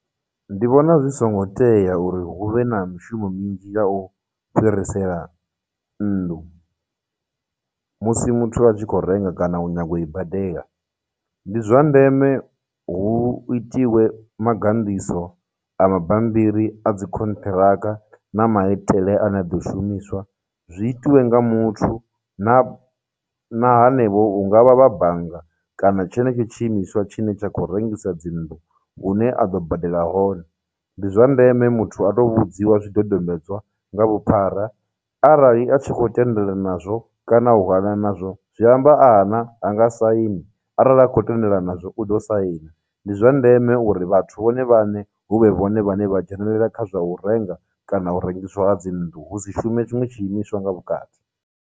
Ndi vhona zwi songo tea uri hu vhe na mishumo minzhi ḽa u fhirisela nnḓu musi muthu a tshi khou renga kana u nyaga u i badela. Ndi zwa ndeme hu itiwe maganḓiso a mabambiri a dzi khonthiraka na maitele a ne a ḓo shumiswa zwi itiwe nga muthu na, na hanevho hungavha vha bannga kana tshenetsho tshiimiswa tshine tsha khou rengisa dzinnḓu hune a ḓo badela hone. Ndi zwa ndeme muthu a tou vhudziwa zwidodombedzwa nga vhuphara, arali a tshi khou tendelana nazwo kana u hana nazwo, zwi amba a hana hanga saini, arali a khou tendelana nazwo u ḓo saina. Ndi zwa ndeme uri vhathu vhone vhaṋe huvhe vhone vhane vha dzhenelela kha zwa u renga kana u rengiswa dzinnḓu hu si shume tshiṅwe tshiimiswa nga vhukati.